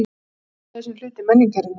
GUÐFRÆÐI SEM HLUTI MENNINGARINNAR